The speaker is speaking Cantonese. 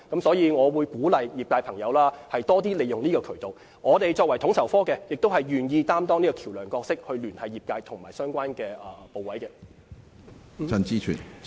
所以，我鼓勵業界多使用這個渠道，而統籌科亦願意擔當橋樑角色，聯繫業界和相關部門。